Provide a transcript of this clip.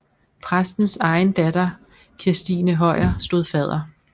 Præstens egen datter Kirstine Højer stod fadder